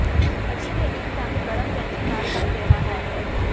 ਅਜਿਹੇ ਇੱਕ ਢੰਗ ਗਰਮ ਕੈਚੀ ਨਾਲ ਕੱਟ ਰਿਹਾ ਹੈ